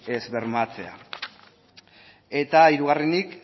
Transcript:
ez bermatzea eta hirugarrenik